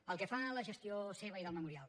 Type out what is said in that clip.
pel que fa a la gestió seva i del memorial